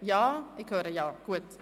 Ja, ich höre ein Ja.